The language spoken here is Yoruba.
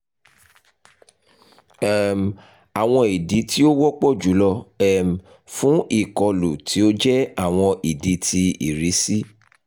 um awọn idi ti o wọpọ julọ um fun ikolu ti o jẹ awọn idi ti irisi